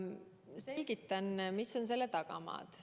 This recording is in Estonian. Selgitan, mis on selle tagamaad.